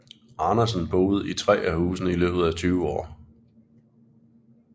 Andersen boede i tre af husene i løbet af tyve år